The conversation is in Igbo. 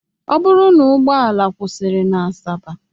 Ọ bụrụ na ụgbọala kwụsịrị na Asaba